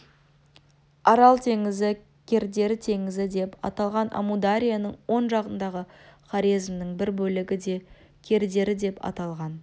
арал теңізі кердері теңізі деп аталған амударияның оң жағындағы хорезмнің бір бөлігі де кердері деп аталған